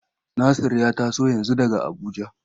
Nasir ya taso yanzu daga Abuja.